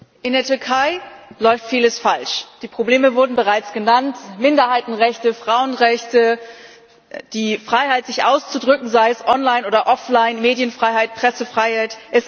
Frau Präsidentin! In der Türkei läuft vieles falsch. Die Probleme wurden bereits genannt Minderheitenrechte, Frauenrechte, die Freiheit, sich auszudrücken, sei es online oder offline, Medienfreiheit, Pressefreiheit.